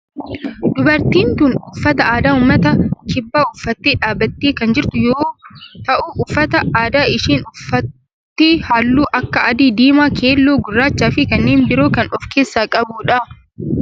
Dubartiin tun uffata aadaa ummata kibbaa uffattee dhaabbattee kan jirtu yoo yoo ta'u uffata aadaa isheen uffatte halluu akka adii, diimaa, keelloo, gurraachaa fi kanneen biroo kan of keessaa qabudha.